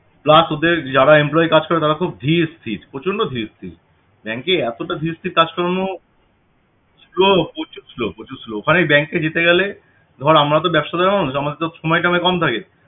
plus ওদের যারা employee কাজ করে তারা খুব ধীর স্থির প্রচন্ড ধীর স্থির bank এ এতটা ধীর স্থির কাজকর্ম slow প্রচুর slow প্রচুর slow আরে bank এ যেতে গেলে ধর আমরা তো ব্যাবসাদার মানুষ আমাদের তো সময়টা অনেক কম থাকে